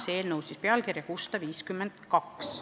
See eelnõu kannab numbrit 652.